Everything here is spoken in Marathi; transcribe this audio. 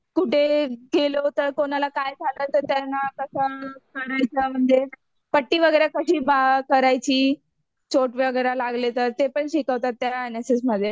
कुठे गेलो तर कुणाला काय झालं तर त्यांना कसं करायचं म्हणजे पट्टी वगैरे कशी करायची. चोट वगैरे लागली तर ते पण शिकवतात त्या एनएसएसमध्ये